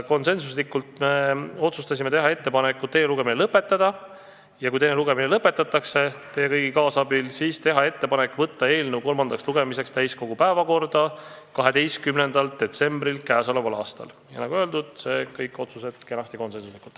Konsensuslikult otsustasime teha ettepaneku teine lugemine lõpetada ja kui see lõpetatakse – teie kõigi kaasabil –, siis saata eelnõu kolmandale lugemisele täiskogu päevakorda 12. detsembriks k.a. Nagu öeldud, kõik otsused said tehtud kenasti konsensuslikult.